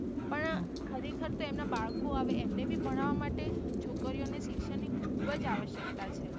પણ ખરે ખાર તો એમના બાળકો આવે એમને પણ ભણવા માટે છોકરીઓ ને શિક્ષણ ખુબ જ આવશ્યકતા છે.